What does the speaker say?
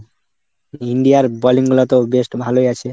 India র balling গুলাতো best ভালোই আছে।